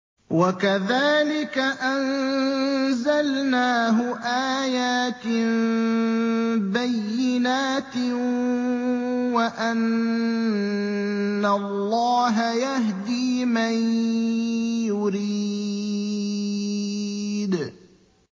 وَكَذَٰلِكَ أَنزَلْنَاهُ آيَاتٍ بَيِّنَاتٍ وَأَنَّ اللَّهَ يَهْدِي مَن يُرِيدُ